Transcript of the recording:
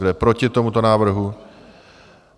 Kdo je proti tomuto návrhu?